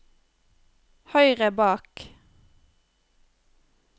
høyre bak